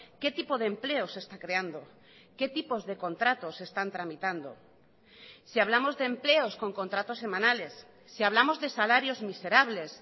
qué tipo de empleo se está creando qué tipos de contratos se están tramitando si hablamos de empleos con contratos semanales si hablamos de salarios miserables